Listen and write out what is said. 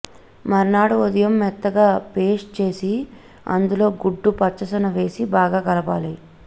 మర్నాడు ఉదయం మెత్తగా పేస్ట్ చేసి అందులో గుడ్డు పచ్చసొన వేసి బాగా కలపాలి